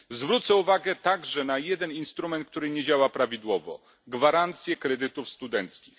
Zwrócę uwagę także na jeden instrument, który nie działa prawidłowo gwarancje kredytów studenckich.